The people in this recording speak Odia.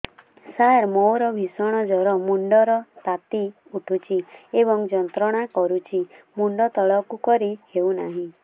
ସାର ମୋର ଭୀଷଣ ଜ୍ଵର ମୁଣ୍ଡ ର ତାତି ଉଠୁଛି ଏବଂ ଯନ୍ତ୍ରଣା କରୁଛି ମୁଣ୍ଡ ତଳକୁ କରି ହେଉନାହିଁ